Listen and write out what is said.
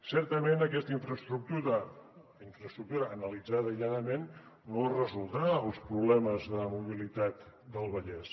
certament aquesta infraestructura analitzada aïlladament no resoldrà els problemes de mobilitat del vallès